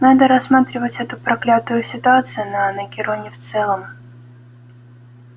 надо рассматривать эту проклятую ситуацию на анакероне в целом